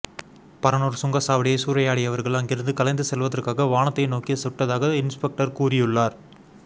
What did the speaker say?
பரனூர் சுங்கச்சாவடியை சூறையாடியவர்கள் அங்கிருந்து கலைந்து செல்வதற்காக வானத்தை நோக்கி சுட்டதாக இன்ஸ்பெக்டர் கூறியுள்ளார்